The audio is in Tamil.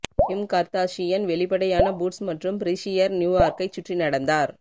கிம் கர்தாஷியன் வெளிப்படையான பூட்ஸ் மற்றும் ப்ரஸீயர் நியூயார்க்கைச் சுற்றி நடந்தார்